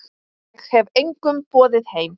Ég hef engum boðið heim.